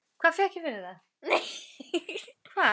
Einn af seinni köttum hennar færði henni alltaf mús á morgnana.